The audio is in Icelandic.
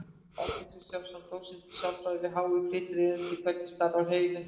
Árni Kristjánsson, dósent í sálfræði við HÍ, flytur erindið: Hvernig starfar heilinn?